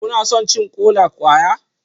Kuna son cin kola-kwaya?